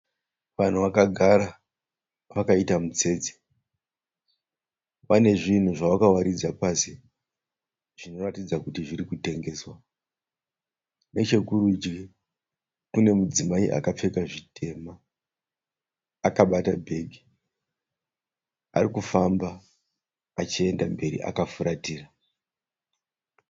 Vanhu vakagara vakaita mutsetse. Pane zvinhu zvavakawaridza pasi zvinoratidza kuti zviri kutengeswa. Nechekurudyi kune mudzimai akapfeka zvitema akabata bhegi ari kufamba achienda mberi akafuratira.